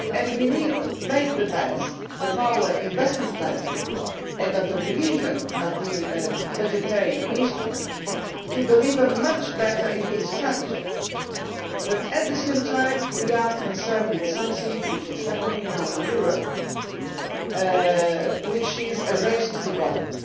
We need to make the best of our investment plan, and of the revision of the budgetary instrument, to deliver much better on this strategy. But at the same time we are concerned with something which is happening now in Europe, namely a race to the bottom.